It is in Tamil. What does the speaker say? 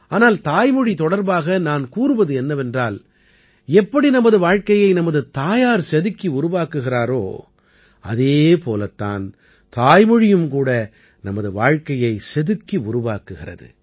ஆனால் தாய்மொழி தொடர்பாக நான் கூறுவது என்னவென்றால் எப்படி நமது வாழ்க்கையை நமது தாயார் செதுக்கி உருவாக்குகிறாரோ அதே போலத் தான் தாய்மொழியும் கூட நமது வாழ்க்கையைச் செதுக்கி உருவாக்குகிறது